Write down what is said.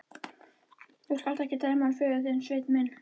Þú skalt ekki dæma hann föður þinn, Sveinn minn.